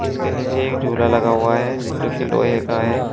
इसके नीचे एक झूला लगा हुआ है जोकी लोहे का है।